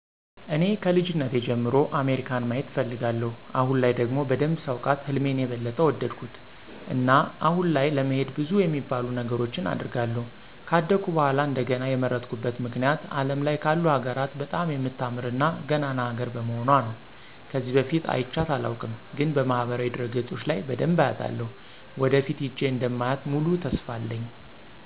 እኔ ከልጅነቴ ጀምሮ አሜሪካን ማየት እፈልጋለሁ። አሁን ላይ ደግሞ በደንብ ሳውቃት ህልሜን የበለጠ ወደድኩት። እና አሁን ላይ ለመሄድ ብዙ የሚባሉ ነገሮችን አደርጋለሁ። ከአደኩ በኃላ እንደገና የመረጥኩበት ምክንያት አለም ላይ ካሉ ሀገራት በጣም የምታምር እና ገናና ሀገር በመሆኑአ ነው። ከዚህ በፊት አይቻት አላውቅም፤ ግን በማህበራዊ ድረገጾች ለይ በደንብ አያታለሁ። ወደፊት ሄጄ እንደማያ ሙሉ ተስፋ አለኝ።